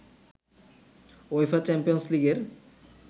UEFA champions লিগের